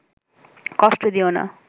কষ্ট দিয়ো না